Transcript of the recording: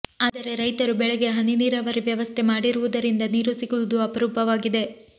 ಆದರೆ ರೈತರು ಬೆಳೆಗೆ ಹನಿ ನೀರಾವರಿ ವ್ಯವಸ್ಥೆ ಮಾಡಿರುವುದರಿಂದ ನೀರು ಸಿಗುವುದು ಅಪರೂಪವಾಗಿದೆ